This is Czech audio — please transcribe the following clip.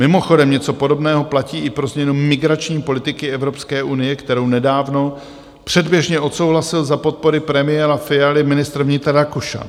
Mimochodem něco podobného platí i pro změnu migrační politiky Evropské unie, kterou nedávno předběžně odsouhlasil za podpory premiéra Fialy ministr vnitra Rakušan.